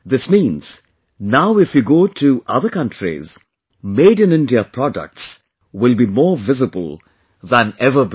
This means, now if you go to other countries, Made in India products will be more visible than ever before